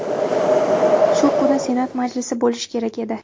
Shu kuni Senat majlisi bo‘lishi kerak edi.